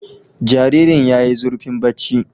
Jaririn' yayi zurfin bacci